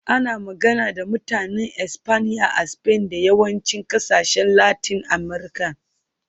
Ana magana da Mutanen Espanya a Spain da yawancin ƙasashen Latin Amurka.